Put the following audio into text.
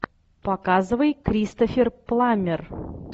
показывай кристофер пламмер